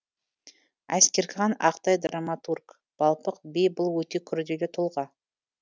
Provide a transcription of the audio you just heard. әскерхан ақтай драматург балпық би бұл өте күрделі тұлға